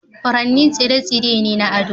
Furanni tsire-tsire ne na ado.